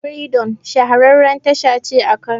Firidom shahararriyar tasha ce a Kano.